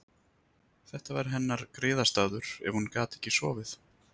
Þetta var hennar griðastaður ef hún gat ekki sofið.